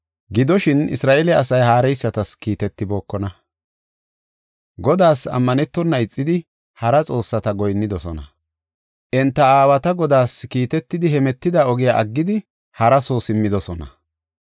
Gidoshin Isra7eele asay haareysatas kiitetibookona; Godaas ammanetona ixidi hara xoossata goyinnidosona. Enta aawati Godaas kiitetidi hemetida ogiya aggidi hara soo simmidosona.